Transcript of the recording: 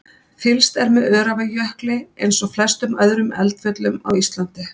Fylgst er með Öræfajökli eins og flestum öðrum eldfjöllum á Íslandi.